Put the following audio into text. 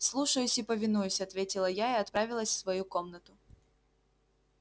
слушаюсь и повинуюсь ответила я и отправилась в свою комнату